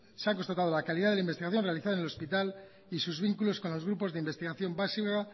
se ha constatado la calidad de la investigación realizada en el hospital y sus vínculos con los grupos de investigación básica